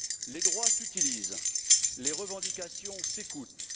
Les droits s'utilisent, les revendications s'écoutent.